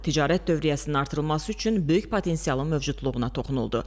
Ticarət dövriyyəsinin artırılması üçün böyük potensialın mövcudluğuna toxunuldu.